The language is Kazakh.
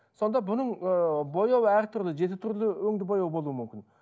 сонда бұның ыыы бояуы әртүрлі жеті түрлі өңді бояу болуы мүмкін